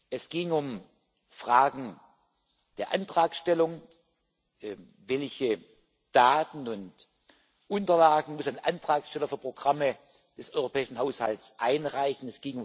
Es geht um Fragen der Antragstellung Welche Daten und Unterlagen muss ein Antragsteller für Programme des europäischen Haushalts einreichen?